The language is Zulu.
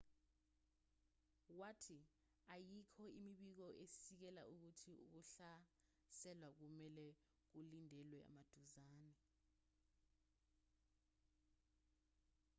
wathi ayikho imibiko esikisela ukuthi ukuhlaselwa kumelwe kulindelwe maduzane